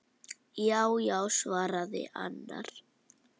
Já já, svaraði annar.